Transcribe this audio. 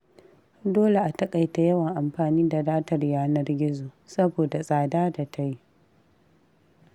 Dole a taƙaita yawan amfani da datar yanar gizo, saboda tsada da ta yi.